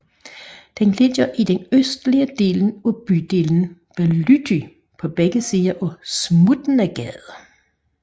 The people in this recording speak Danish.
Den ligger i den østlige del af bydelen Bałuty på begge sider af Smutnagade